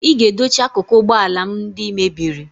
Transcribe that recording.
ị ga-edochi akụkụ ụgbọ ala m ndị ị mebiri